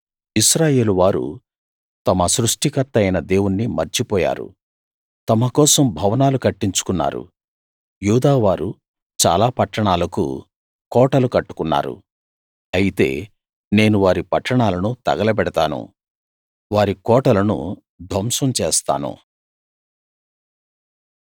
ఇశ్రాయేలువారు తమ సృష్టికర్త అయిన దేవుని మర్చి పోయారు తమ కోసం భవనాలు కట్టించుకున్నారు యూదావారు చాలా పట్టణాలకు కోటలు కట్టుకున్నారు అయితే నేను వారి పట్టణాలను తగలబెడతాను వారి కోటలను ధ్వంసం చేస్తాను